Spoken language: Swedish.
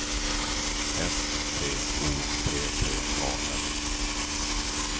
S T O P P A S